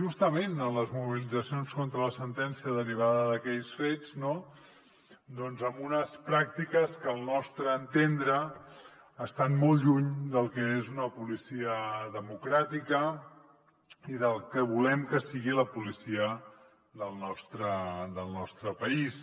justament en les mobilitzacions contra la sentència derivada d’aquells fets amb unes pràctiques que al nostre entendre estan molt lluny del que és una policia democràtica i del que volem que sigui la policia del nostre país